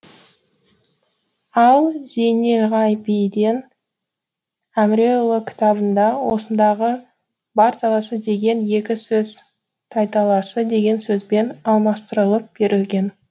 ал зейнелғабиден әміреұлы кітабында осындағы бар таласы деген екі сөз тайталасы деген сөзбен алмастырылып берілген